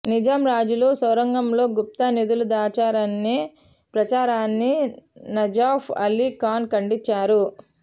నిజాం రాజులు సొరంగాల్లో గుప్త నిధులు దాచారనే ప్రచారాన్ని నజఫ్ అలీ ఖాన్ ఖండించారు